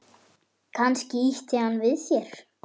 Kannski ýtti hann við þér?